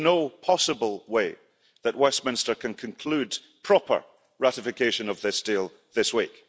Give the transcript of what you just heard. There is no possible way that Westminster can conclude proper ratification of this deal this week.